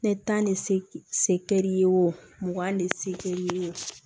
Ne tan ne se kɛ'i ye o mugan ni se kɛ i ye